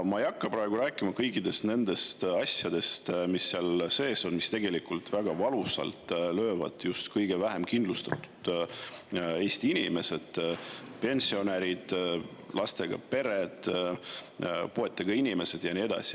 Ma ei hakka praegu rääkima kõikidest nendest asjadest, mis seal on, mis löövad väga valusalt just kõige vähem kindlustatud Eesti inimeste pihta: pensionärid, lastega pered, puuetega inimesed ja nii edasi.